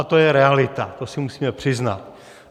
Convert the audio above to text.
A to je realita, to si musíme přiznat.